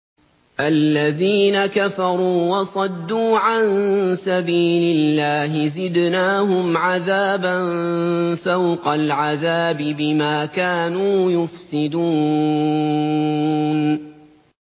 الَّذِينَ كَفَرُوا وَصَدُّوا عَن سَبِيلِ اللَّهِ زِدْنَاهُمْ عَذَابًا فَوْقَ الْعَذَابِ بِمَا كَانُوا يُفْسِدُونَ